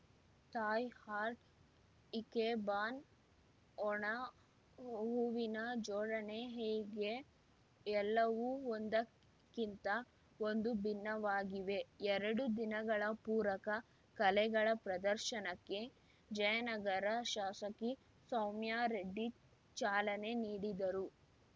Thai art ikebana ಒಣ ಹೂವಿನ ಜೋಡಣೆ ಹೀಗೆ ಎಲ್ಲವೂ ಒಂದಕ್ಕಿಂತ ಒಂದು ಭಿನ್ನವಾಗಿವೆ ಎರಡು ದಿನಗಳ ಪೂರಕ ಕಲೆಗಳ ಪ್ರದರ್ಶನಕ್ಕೆ ಜಯನಗರ ಶಾಸಕಿ ಸೌಮ್ಯಾರೆಡ್ಡಿ ಚಾಲನೆ ನೀಡಿದರು